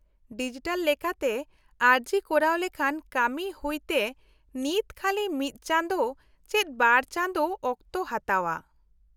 -Digital ᱞᱮᱠᱟᱛᱮ ᱟᱹᱨᱡᱤ ᱠᱚᱨᱟᱣ ᱞᱮᱠᱷᱟᱱ ᱠᱟᱹᱢᱤ ᱦᱩᱭᱛᱮ ᱱᱤᱛ ᱠᱷᱟᱹᱞᱤ ᱢᱤᱫ ᱪᱟᱸᱫᱳ ᱪᱮᱫ ᱵᱟᱨ ᱪᱟᱸᱫᱳ ᱚᱠᱛᱚ ᱦᱟᱛᱟᱣᱼᱟ ᱾